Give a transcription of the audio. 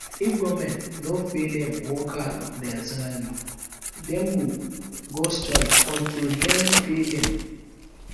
if government no pay em workers their salary dem go go strike until dem pay dem